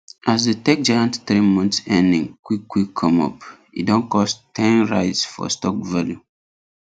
as the tech giants three months earning quick quick come up e don cause ten rise for stock value